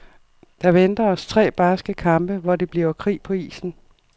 Der venter os tre barske kampe, hvor det bliver krig på isen.